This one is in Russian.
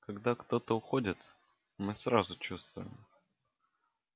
когда кто-то уходит мы сразу чувствуем